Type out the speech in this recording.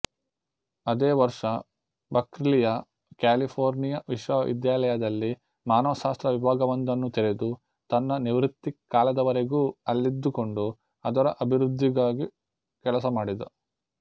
ಅದೇ ವರ್ಷ ಬಕ್ರ್ಲಿಯ ಕ್ಯಾಲಿಫೋರ್ನಿಯ ವಿಶ್ವವಿದ್ಯಾಲಯದಲ್ಲಿ ಮಾನವಶಾಸ್ತ್ರ ವಿಭಾಗವೊಂದನ್ನು ತೆರೆದು ತನ್ನ ನಿವೃತ್ತಿಕಾಲದವರೆಗೂ ಅಲ್ಲಿದ್ದುಕೊಂಡು ಅದರ ಅಭಿವೃದ್ಧಿಗಾಗಿ ಕೆಲಸ ಮಾಡಿದ